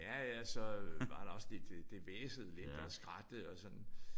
Ja ja og så var der også lidt det hvæsede lidt og skrattede og sådan